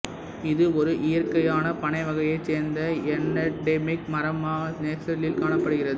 இது ஒரு இயற்கையான பனை வகையைச் சேர்ந்த எண்டெமிக் மரமாக பிரேசிலில் காணப்படுகிறது